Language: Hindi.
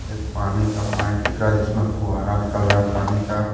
एक पानी का पाइप दिख रहा है जिसमे फुहारा निकल रहा है पानी का।